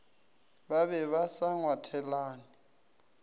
ba be ba sa ngwathelane